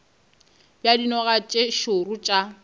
bja dinoga tše šoro tša